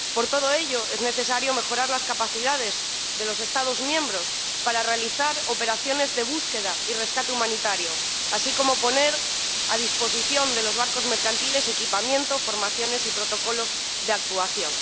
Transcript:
Por todo ello, es necesario mejorar las capacidades de los Estados miembros para realizar operaciones de búsqueda y rescate humanitario, así como poner a disposición de los barcos mercantiles equipamiento, formaciones y protocolos de actuación.